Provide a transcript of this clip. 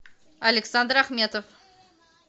александр ахметов